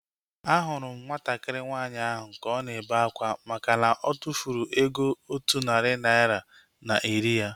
Ahụrụ m nwatakịrị nwaanyị ahu ka ọ na-ebe akwa makana otufuru ego otu narị naira na iri ya